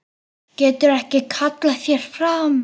Getur ekki kallað þær fram.